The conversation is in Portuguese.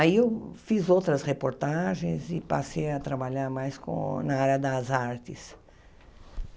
Aí eu fiz outras reportagens e passei a trabalhar mais com na área das artes.